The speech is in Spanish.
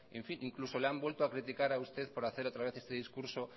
e incluso le han vuelto a criticar a usted por hacer otra vez este discurso